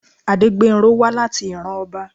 Adégbénró wá láti ìran ọba.